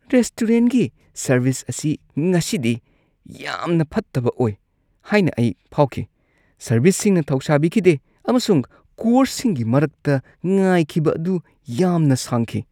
ꯔꯦꯁꯇꯨꯔꯦꯟꯠꯒꯤ service ꯑꯁꯤ ꯉꯁꯤꯗꯤ ꯌꯥꯝꯅ ꯐꯠꯇꯕ ꯑꯣꯏ ꯍꯥꯏꯅ ꯑꯩ ꯐꯥꯎꯈꯤ꯫ ꯁꯔꯚꯤꯁꯁꯤꯡꯅ ꯊꯧꯁꯥꯕꯤꯈꯤꯗꯦ ꯑꯃꯁꯨꯡ ꯀꯣꯔꯁꯁꯤꯡꯒꯤ ꯃꯔꯛꯇ ꯉꯥꯏꯈꯤꯕ ꯑꯗꯨ ꯌꯥꯝꯅ ꯁꯥꯡꯈꯤ꯫